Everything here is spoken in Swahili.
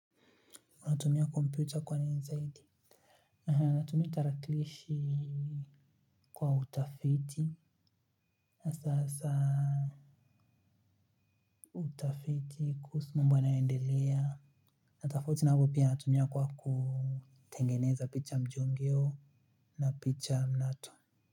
Unatumia komputa kwa nini zaidi? Unatumia tarakilishi kwa utafiti. Sasa utafiti kuhusu mambo yanayoendelea. Na tofauti na hapo pia natumia kwa kutengeneza picha mjongeo na picha mnato.